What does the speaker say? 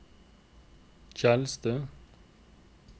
Tjeldstø